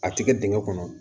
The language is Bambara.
A ti kɛ dingɛ kɔnɔ